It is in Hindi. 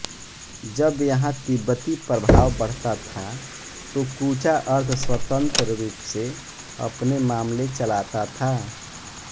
जब यहाँ तिब्बती प्रभाव बढ़ता था तो कूचा अर्धस्वतंत्र रूप से अपने मामले चलाता था